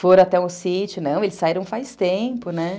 Foram até o sítio, não, eles saíram faz tempo, né?